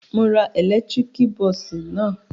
Mo ra ẹ̀lẹ́tíríkì bọ́ọ́sì náà.